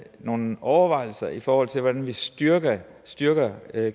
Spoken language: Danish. nogen overvejelser i forhold til hvordan vi styrker styrker